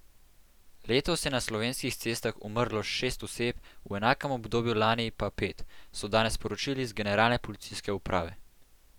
Letos je na slovenskih cestah umrlo šest oseb, v enakem obdobju lani pa pet, so danes sporočili z Generalne policijske uprave.